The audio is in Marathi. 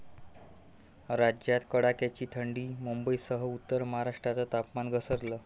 राज्यात कडाक्याची थंडी, मुंबईसह उत्तर महाराष्ट्राचं तापमान घसरलं